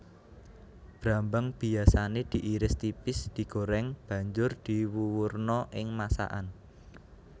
Brambang biyasané diiris tipis digoreng banjur diwuwurna ing masakan